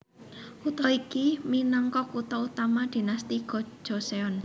Kutha iki minangka kutha utama Dinasti Go Joseon